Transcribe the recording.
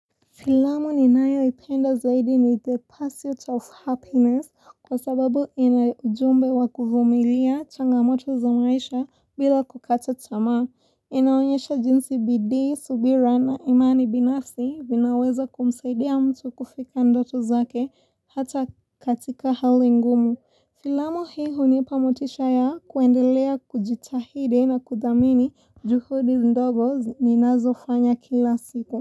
Filamu ni nayo ipenda zaidi ni the pursuit of happiness kwa sababu ina ujumbe wa kuvumilia changamoto za maisha bila kukata tamaa inaonyesha jinsi bidii, subira na imani binafsi vinaweza kumsaidia mtu kufika ndoto zake hata katika hali ngumu. Filamu hii hunipamotisha ya kuendelea kujitahidi na kudhamini juhudi ndogo ni nazofanya kila siku.